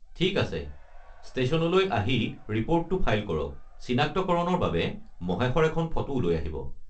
ঠিক আছে, ষ্টেশ্যনলৈ আহি ৰিপৰ্টটো ফাইল কৰক, চিনাক্তকৰণৰ বাবে মহেশৰ এখন ফটোও লৈ আহিব।